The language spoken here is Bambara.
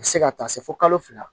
A bɛ se ka taa se fo kalo fila